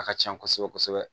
A ka can kosɛbɛ kosɛbɛ